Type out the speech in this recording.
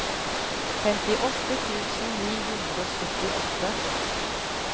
femtiåtte tusen ni hundre og syttiåtte